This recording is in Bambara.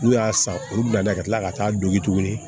N'u y'a san olu bila ka tila ka taa dogi tuguni